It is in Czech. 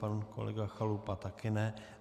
Pan kolega Chalupa také ne.